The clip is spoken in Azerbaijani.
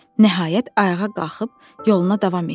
Nəhayət ayağa qalxıb yoluna davam etdi.